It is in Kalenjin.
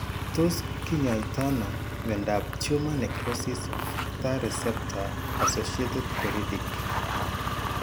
Tos kinyaaytano myondap tumor necrosis factor receptor associated peridic ?